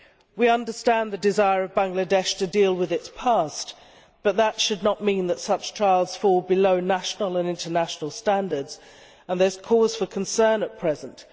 We understand the desire of Bangladesh to deal with its past, but that should not mean that such trials fall below national and international standards, and there is cause for concern at present.